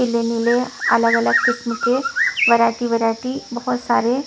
नीले नीले अलग अलग किस्म के वैरायटी वैरायटी बहुत सारे --